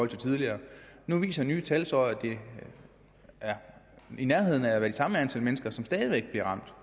til tidligere nu viser nye tal så at det er i nærheden af at være det samme antal mennesker som stadig væk bliver ramt